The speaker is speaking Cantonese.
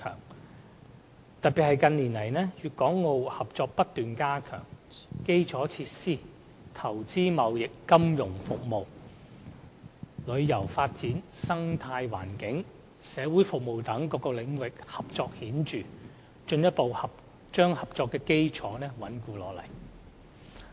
特別值得注意的是，在近年來，粵港澳合作不斷加強，在基礎設施、貿易投資、金融服務、旅遊發展、生態環保、社會服務等各個領域的合作，均取得顯著的成效，進一步穩固合作基礎。